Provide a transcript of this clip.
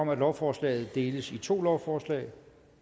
om at lovforslaget deles i to lovforslag